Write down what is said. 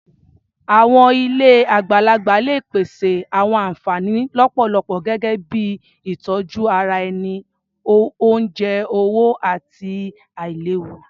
Àwọn ilé àgbàlagbà lè pèsè àwọn ànfàní lọ́pọ̀lọpọ̀ gẹ́gẹ́ bíi ìtọjú ara ẹni, oúnjẹ, owó, àti àìléwu.